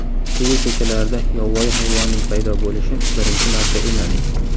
Chili ko‘chalarida yovvoyi hayvonning paydo bo‘lishi birinchi marta emas.